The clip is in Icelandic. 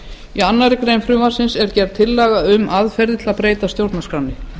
í annarri grein frumvarpsins er gerð tillaga um aðferðir til að breyta stjórnarskránni